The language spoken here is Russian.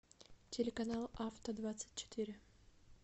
телеканал авто двадцать четыре